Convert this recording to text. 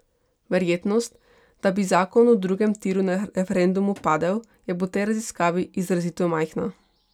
Verjetnost, da bi zakon o drugem tiru na referendumu padel, je po tej raziskavi izrazito majhna.